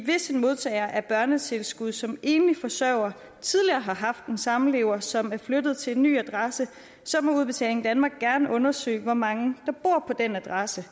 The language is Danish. hvis en modtager af børnetilskud som enlig forsørger tidligere har haft en samlever som er flyttet til en ny adresse så må udbetaling danmark gerne undersøge hvor mange der bor på den adresse